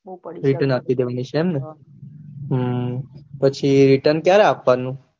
return આપી દેવાની છે એમ ને હમ પછી return ક્યારે આપવાનું